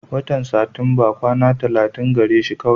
Watan Satinba kwana tallatin gare shi kawai.